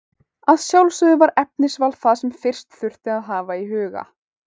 Að sjálfsögðu var efnisval það sem fyrst þurfti að hafa í huga.